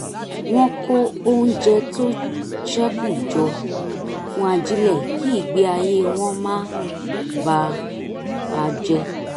wọ́n ń kó oúnjẹ tó ṣẹ́kù jọ fún ajílẹ̀ kí ìgbé ayé wọn má bà a jẹ